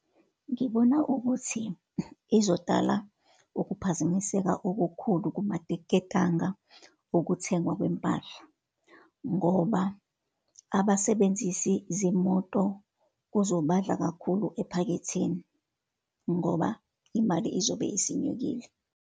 Ngibona ukuthi izodala ukuphazamiseka okukhulu kumaketanga okuthengwa kwempahla. Ngoba abasebenzisi zimoto kuzobadla kakhulu ephaketheni, ngoba imali izobe isinyukile.